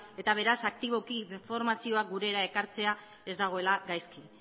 eta beraz aktiboki informazioa gurera ekartzea ez dagoela gaizki